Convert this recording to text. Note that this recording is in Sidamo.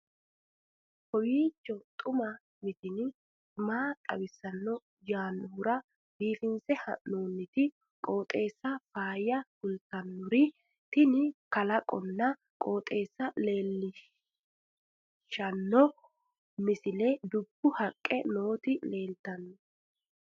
kowiicho xuma mtini maa xawissanno yaannohura biifinse haa'noonniti qooxeessano faayya kultannori tini kalaqonna qooxeessa leellishshanno misileeti dubbu haqqe nooti leeltanno